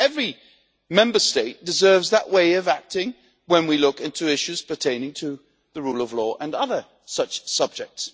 I think every Member State deserves that way of acting when we look into issues pertaining to the rule of law and other such subjects.